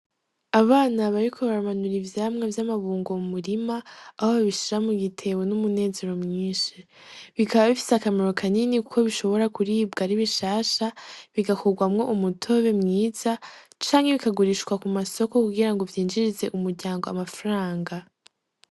Abana bariko baramanura ivyamwa vyama bungo mu murima aho babishira mu gitebo n'umunezero mwishi, Bikaba bifise akamaro kanini kuko bishobora kuribwa ari bishasha bigakurwamwo umutobe mwiza canke bikagurishwa ku masoko kugira vyinjirize umuryango amafaranga.